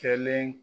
Kɛlen